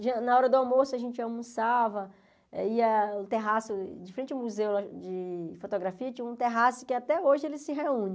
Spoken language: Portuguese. Na hora do almoço, a gente almoçava, eh ia no terraço, diferente do museu de fotografia, tinha um terraço que até hoje ele se reúne.